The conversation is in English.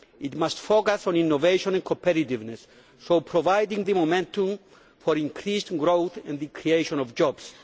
It must focus on innovation and competitiveness, so providing the momentum for increased growth and the creation of jobs.